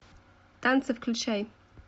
танцы включай